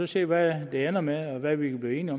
se hvad det ender med og hvad vi kan blive enige